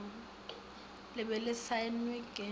le be le saenwe ke